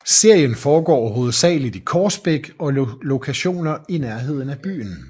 Serien foregår hovedsageligt i Korsbæk og lokationer i nærheden af byen